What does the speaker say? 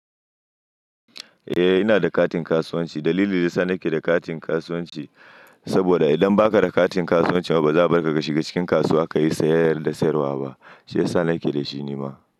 Eh ina da katin kasuwanci. Dalilin da ya sa nake da katin kasuwanci saboda idan ba ka da katin kasuwanci ba ba za a bar ka ka shiga cikin kasuwa ka yi sayayya da sayarwa ba. Shi ya sa na ƙe dashi ne ma.